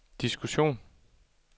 diskussion